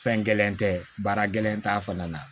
Fɛn gɛlɛn tɛ baara gɛlɛn t'a fana na